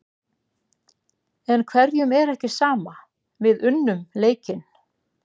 En hverjum er ekki sama, við unnum leikinn.